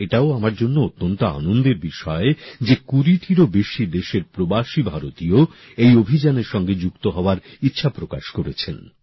এবং এটাও আমার জন্য অত্যন্ত আনন্দের বিষয় যে ২০ টিরও বেশি দেশের প্রবাসী ভারতীয় এই অভিযানের সঙ্গে যুক্ত হওয়ার ইচ্ছা প্রকাশ করেছেন